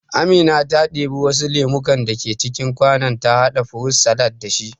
Amina ta ɗibi wasu lemukan da ke cikin kwanon ta haɗa furut salad da shi